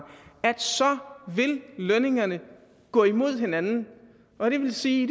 vil lønningerne gå imod hinanden og det vil sige